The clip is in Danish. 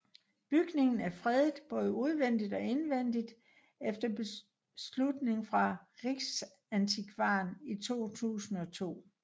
Bygningen er fredet både udvendigt og indvendigt efter beslutning fra Riksantikvaren i 2002